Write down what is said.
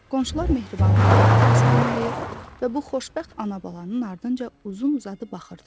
Qonşular mehribanlıqla onları salamlayır və bu xoşbəxt ana-balanın ardınca uzun-uzadı baxırdılar.